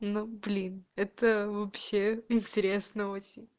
блин это вообще интересного